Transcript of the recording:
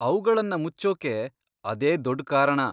ಅವ್ಗಳನ್ನ ಮುಚ್ಚೋಕ್ಕೆ ಅದೇ ದೊಡ್ ಕಾರಣ!